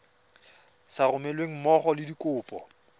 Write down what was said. sa romelweng mmogo le dikopo